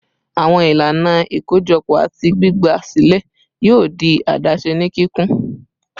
Awọn ilana ikojọpọ ati gbigba silẹ yoo di adaṣe ni kikun